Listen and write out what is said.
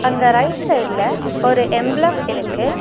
அங்க ரைட் சைடுல ஒரு எம்பளம் இருக்கு.